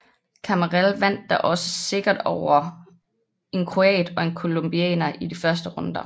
Cammarelle vandt da også sikkert over en kroat og en colombianer i de første runder